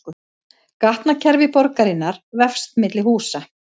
Gatnakerfi borgarinnar vefst milli húsa